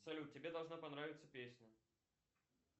салют тебе должна понравиться песня